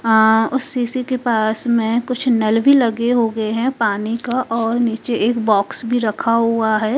अह उस सीसी के पास में कुछ नल भी लगे होगे है पानी का और नीचे एक बॉक्स भी रखा हुआ है।